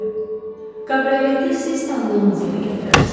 Kabrioleti siz tanıdığınız yerə gətirərsiz.